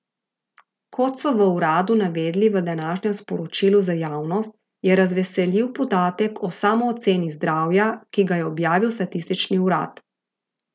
Kot so v uradu navedli v današnjem sporočilu za javnost, je razveseljiv podatek o samooceni zdravja, ki ga je objavil statistični urad.